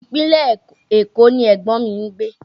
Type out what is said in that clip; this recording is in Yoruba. Ìpínlẹ̀ Èkó ni ẹ̀gbọ́n mi ń gbé